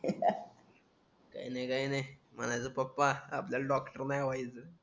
अह काय नाय काय नाय म्हणायचं पप्पा आपल्याला डॉक्टर नाय व्हायचं